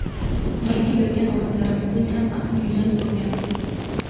Birga yurgan odamlarimizning ham asl yuzini ko‘rganmiz.